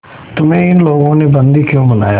तुम्हें इन लोगों ने बंदी क्यों बनाया